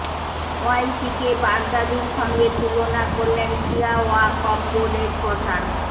ওয়াইসিকে বাগদাদির সঙ্গে তুলনা করলেন শিয়া ওয়াকফ বোর্ডের প্রধান